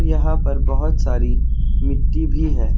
यहां पर बहुत सारी मिट्टी भी है।